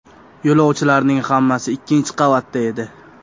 Yo‘lovchilarning hammasi ikkinchi qavatda edi.